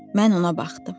Mən ona baxdım.